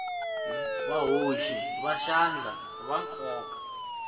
vahoxi va xandla va nkoka